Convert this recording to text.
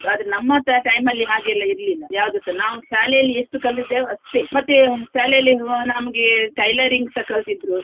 ಆದ್ರೆ ನಮ್ಮ ti~ time ಅಲ್ಲಿ ಹಾಗೆ ಎಲ್ಲ ಇರ್ಲಿಲ್ಲ ಯಾವ್ದುಸ ನಾವು ಶಾಲೆಯಲ್ಲಿ ಎಷ್ಟು ಕಲ್ತಿದ್ದೆವು ಅಷ್ಟೇ ಮತ್ತೆ ಶಾಲೆಯಲ್ಲಿ ನಮ್ಗೆ tailoring ಸ ಕಲ್ಸಿದ್ರು.